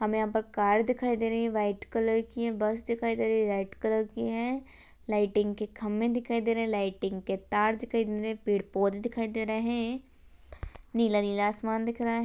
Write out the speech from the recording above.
हमे यहां पर कार दिखाई दे रही है व्हाइट कलर की है बस दिखाई दे रही है व्हाइट कलर की है लाइटिंग के खम्बे दिखाई दे रहे है लाइटिंग के तार दिखाई दे रहे है पेड़ पौधे दिख रहे है नीला नीला आसमान दिख रहा है।